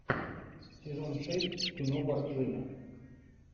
сезон шесть кино борджина